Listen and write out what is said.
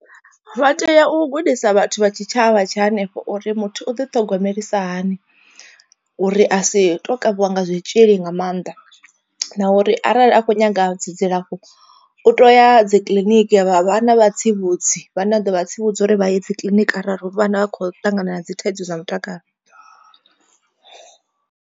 Vha tea u gudisa vhathu vha tshitshavha tsha hanefho uri muthu u ḓi thogomelisa hani. Uri a si to kavhiwa nga zwitzhili nga maanḓa, na uri arali a kho nyaga dzi dzilafho u to ya dzi kiḽiniki ya vhana vhatsivhudzi vhane a ḓo vha tsivhudza uri vha ye dzi kiḽiniki arali vhana vha kho ṱangana na dzi thaidzo zwa mutakalo.